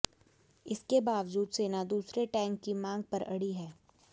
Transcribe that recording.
इसके बावजूद सेना दूसरे टैंक की मांग पर अड़ी है